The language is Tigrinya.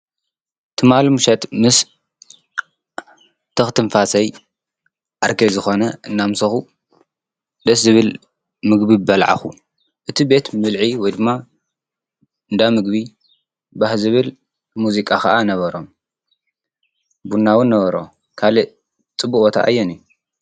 ትማል ሙሸት ምስ ተኽ ትንፋሰይ ኣርከ ዝኾነ እናምሰኹ ደስ ዝብል ምግቢ በልዓኹ እቲ ቤት ምልዒ ወ ድማ እንዳምግቢ ባሕዝብል ሙዚቃ ኸዓ ነበሮም ብናውን ነበሮ ካልእ ጽብወታ ኣየነእዩ?